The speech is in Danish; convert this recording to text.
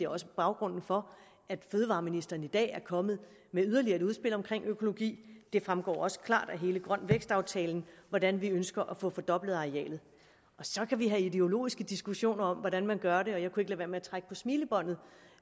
også baggrunden for at fødevareministeren i dag er kommet med yderligere et udspil omkring økologi det fremgår også klart af hele grøn vækst aftalen hvordan vi ønsker at få fordoblet arealet så kan vi have ideologiske diskussioner om hvordan man gør det og jeg kunne ikke lade være med at trække på smilebåndet